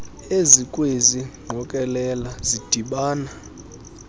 ezikwezi ngqokelela zidibana